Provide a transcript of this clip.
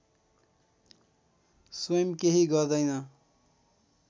स्वयम् केही गर्दैन